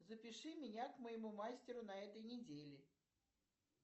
запиши меня к моему мастеру на этой неделе